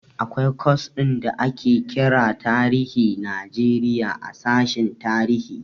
Akwai kwas ɗin da ake kira tarihin Najeriya a sashen tarihi.